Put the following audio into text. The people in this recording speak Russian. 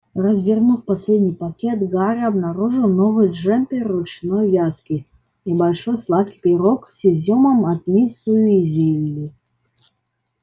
развернув последний пакет гарри обнаружил новый джемпер ручной вязки и большой сладкий пирог с изюмом от миссис уизли